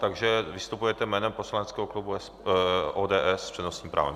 Takže vystupujete jménem poslaneckého klubu ODS s přednostním právem.